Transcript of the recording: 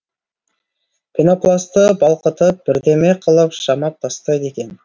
пенопласты балқытып бірдеме қылып жамап тастайды екен